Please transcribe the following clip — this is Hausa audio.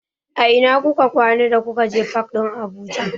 A ina kuka kwana da kuka je fak ɗin Abuja?